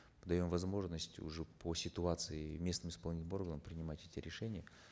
мы даем возможность уже по ситуации местным исполнительным органам принимать эти решения